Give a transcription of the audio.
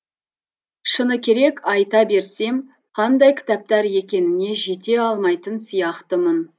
шыны керек айта берсем қандай кітаптар екеніне жете алмайтын сияқтымын